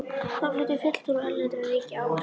Þá fluttu fulltrúar erlendra ríkja ávörp.